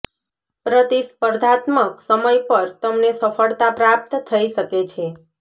પ્રતિસ્પર્ધાત્મક સમય પર તમને સફળતા પ્રાપ્ત થઈ શકે છે